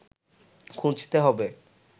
খুঁজতে হবে